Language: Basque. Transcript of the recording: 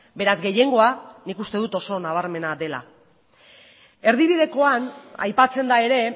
beraz gehiengoa nik uste dut oso nabarmena dela erdibidekoan aipatzen da ere